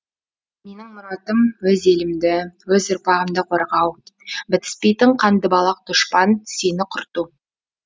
менің мұратым өз елімді өз ұрпағымды қорғау бітіспейтін қандыбалақ дұшпан сені құрту